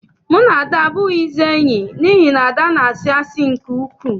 Mụ na Ada abụghịzi enyi n'ihi na Ada na-asị oké asị.